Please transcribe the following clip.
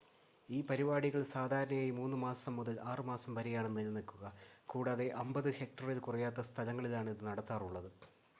ഈ പരിപാടികൾ സാധാരണയായി 3 മാസം മുതൽ 6 മാസം വരെയാണ് നിലനിൽക്കുക കൂടാതെ 50 ഹെക്റ്ററിൽ കുറയാത്ത സ്ഥലങ്ങളിലാണ് ഇത് നടത്താറുള്ളത്